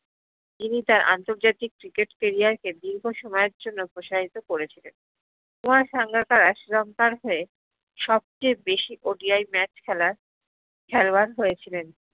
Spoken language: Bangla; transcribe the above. যিনি তার আন্তরজাতিক cricket career কে দীর্ঘ সময়ের জ্ন্য় প্রসাহিত করেছিলেন কুমার সাঙ্গাকারা শ্রীলংকার হয়ে সব্চে বেশি ODI match খেলার খেলোয়ার হয়েছিলেন